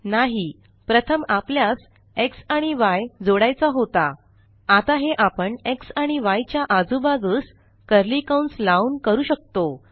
नाही प्रथम आपल्यास xआणि य जोडायचा होता आता हे आपण xआणि yच्या आजूबाजूस कर्ली कंस लावून करू शकतो